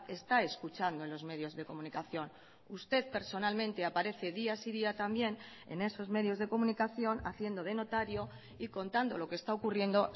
está escuchando en los medios de comunicación usted personalmente aparece día sí y día también en esos medios de comunicación haciendo de notario y contando lo que está ocurriendo